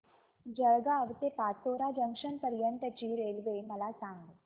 जळगाव ते पाचोरा जंक्शन पर्यंतची रेल्वे मला सांग